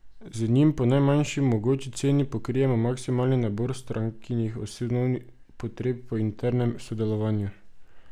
Z njim po najmanjši mogoči ceni pokrijemo maksimalni nabor strankinih osnovnih potreb po internem sodelovanju.